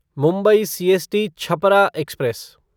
Mumbai CST Chhapra express